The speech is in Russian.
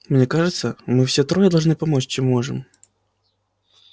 мне кажется мы все трое должны помочь чем можем